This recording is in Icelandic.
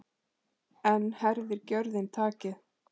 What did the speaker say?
Enn herðir gjörðin takið.